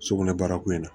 Sugunɛ barako in na